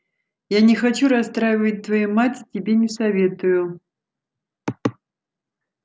я не хочу расстраивать твою мать и тебе не советую